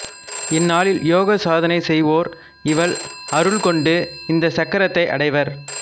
இந்நாளில் யோக சாதனை செய்வோர் இவள் அருள் கொண்டு இந்த சக்ரத்தை அடைவர்